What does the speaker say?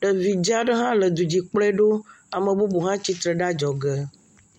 Ɖevi dza aɖe hã le du dzi kplɔe ɖo. Ame bubu hã tsitre ɖe adzɔge.